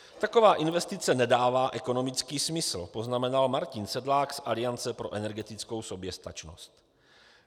Taková investice nedává ekonomický smysl," poznamenal Martin Sedlák z Aliance pro energetickou soběstačnost.